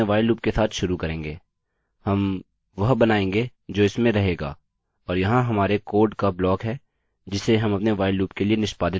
अतः हम अपने while लूप के साथ शुरू करेंगे हम वह बनाएँगे जो इसमें रहेगा और यहाँ हमारे कोड का ब्लॉक है जिसे हम अपने while लूप के लिए निष्पादित करेंगे